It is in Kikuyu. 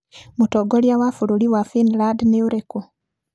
Mũtongoria wa bũrũri wa Finland nĩ ũrĩkũ?